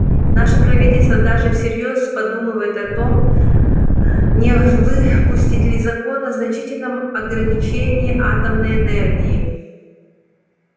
наше правительство даже всерьёз подумывает о том не выпустить ли закон о значительном ограничении атомной энергии